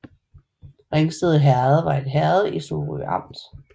Ringsted Herred var et herred i Sorø Amt